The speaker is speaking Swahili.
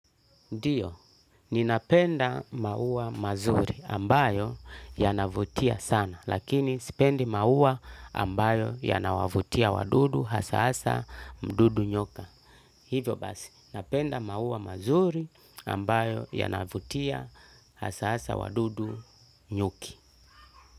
Ndiyo, ninapenda maua mazuri ambayo yanavutia sana lakini sipendi maua ambayo yanawavutia wadudu hasa hasa mdudu nyoka. Hivyo basi, ninapenda maua mazuri ambayo yanavutia hasa hasa wadudu nyuki.